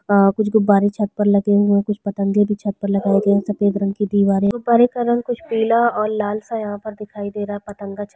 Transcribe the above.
अअअ कुछ गुब्बरे छत पर लगे हुए है कुछ पतंगे भी छत पर लगाए है सफ़ेद रंग की दिवारे गुब्बरे का रंग पीला और लाल सा यहाँ पे दिखाई दे रहा है पतंगा छत पर--